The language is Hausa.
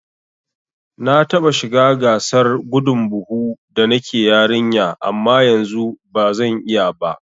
Na taɓa shiga gasar gudun buhu da nake yarinya amma yanzu bazan iya ba